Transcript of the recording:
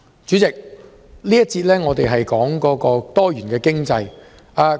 主席，這一節的主題是多元經濟。